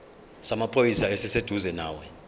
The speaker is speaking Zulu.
samaphoyisa esiseduzane nawe